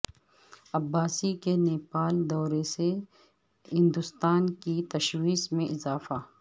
عباسی کے نیپال دورے سے ہندوستان کی تشویش میں اضافہ